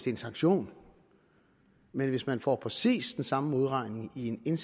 en sanktion men hvis man får præcis den samme modregning i